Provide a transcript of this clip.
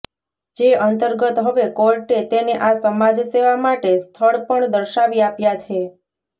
જે અંતર્ગત હવે કોર્ટે તેને આ સમાજ સેવા માટે સ્થળ પણ દર્શાવી આપ્યા છે